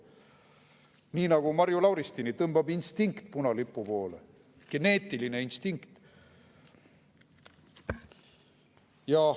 Nii nagu Marju Lauristini tõmbab instinkt punalipu poole, geneetiline instinkt.